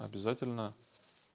обязательно